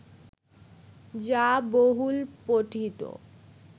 যা বহুল পঠিত